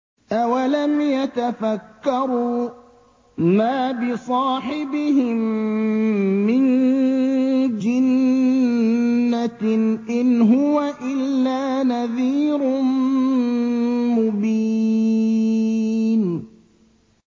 أَوَلَمْ يَتَفَكَّرُوا ۗ مَا بِصَاحِبِهِم مِّن جِنَّةٍ ۚ إِنْ هُوَ إِلَّا نَذِيرٌ مُّبِينٌ